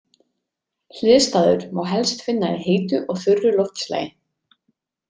Hliðstæður má helst finna í heitu og þurru loftslagi.